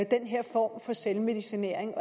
den her form for selvmedicinering